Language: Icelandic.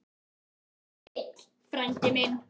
Farðu heill, frændi minn.